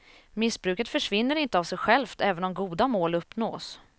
Missbruket försvinner inte av sig självt även om goda mål uppnås.